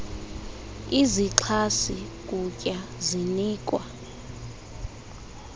izixhasi kutya zinikwa